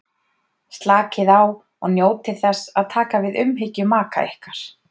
Slakið á og njótið þess að taka við umhyggju maka ykkar.